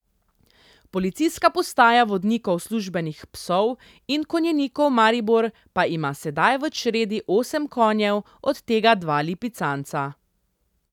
Policijska postaja vodnikov službenih psov in konjenikov Maribor pa ima sedaj v čredi osem konjev, od tega dva lipicanca.